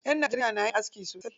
Ƴan Najeriya na yin aski sosai.